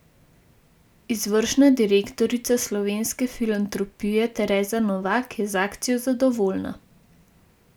Izvršna direktorica Slovenske filantropije Tereza Novak je z akcijo zadovoljna.